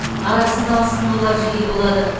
арасында асқынулар жиі болады